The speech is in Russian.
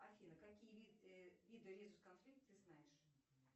афина какие виды резус конфликтов ты знаешь